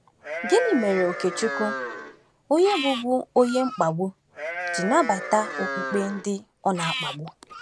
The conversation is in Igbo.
Gịnị mere Okechukwu onye bụbu onye mkpagbu ji nabata okpukpe ndị ọ na-akpagbu?